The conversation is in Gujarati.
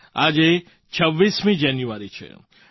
આજે 26 જાન્યુઆરી છે